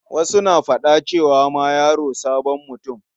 Wasu na faɗa cewa ma yaro sabon mutum.